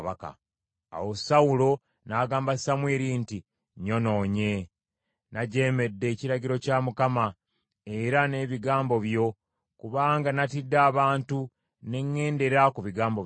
Awo Sawulo n’agamba Samwiri nti, “Nyonoonye. Najeemedde ekiragiro kya Mukama era n’ebigambo byo, kubanga natidde abantu ne ŋŋendera ku bigambo byabwe.